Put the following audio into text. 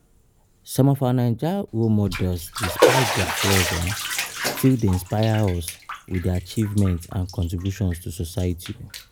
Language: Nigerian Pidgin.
Some of our Naija role models despite dia flaws, still dey inspire us with dia achievements and contributions to society.